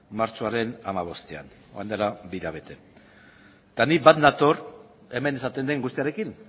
martxoaren hamabostean orain dela bi hilabete eta ni bat nator hemen esaten den guztiarekin